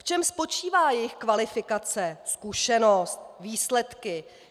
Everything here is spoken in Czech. V čem spočívá jejich kvalifikace, zkušenost, výsledky?